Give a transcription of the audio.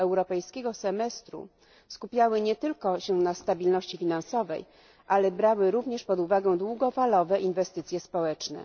europejskiego semestru skupiały się nie tylko na stabilności finansowej, ale brały również pod uwagę długofalowe inwestycje społeczne.